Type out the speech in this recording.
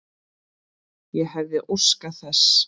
Ég hefði óskað þess.